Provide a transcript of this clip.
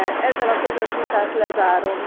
Ezzel a közös vitát lezárom.